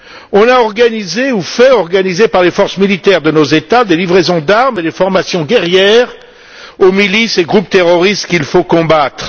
On a organisé ou fait organiser par les forces militaires de nos États des livraisons d'armes et des formations guerrières aux milices et groupes terroristes qu'il faut combattre.